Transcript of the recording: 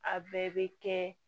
A bɛɛ bɛ kɛ